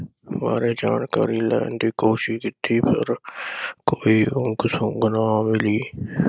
ਬਾਰੇ ਜਾਣਕਾਰੀ ਲੈਣ ਦੀ ਕੋਸ਼ਿਸ਼ ਕੀਤੀ ਪਰ ਕੋਈ ਉਂਗ ਸੁੰਗ ਨਾ ਮਿਲੀ ।